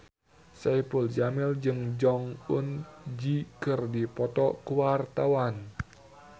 Saipul Jamil jeung Jong Eun Ji keur dipoto ku wartawan